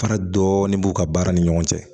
Fara dɔɔni b'u ka baara ni ɲɔgɔn cɛ